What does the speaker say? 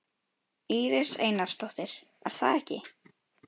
Íris Einarsdóttir: Er það ekki?